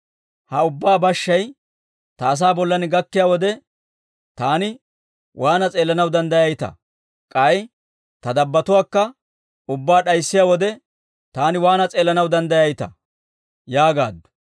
Ha ubbaa bashshay ta asaa bollan gakkiyaa wode, taani waana s'eellanaw danddayayitaa? K'ay ta dabbotuwaakka ubbaa d'ayssiyaa wode, taani waana s'eellanaw danddayayitaa?» yaagaaddu.